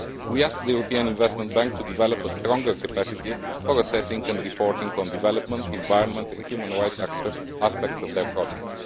We ask the European Investment Bank to develop a stronger capacity for assessing and reporting on development, environment, and the human rights aspects of their projects.